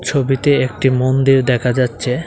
ছবিতে একটি মন্দির দেখা যাচ্ছে।